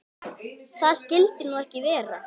Það skyldi nú ekki vera?